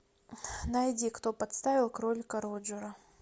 найди кто подставил кролика роджера